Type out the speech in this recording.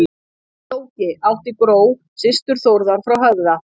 Flóki átti Gró, systur Þórðar frá Höfða.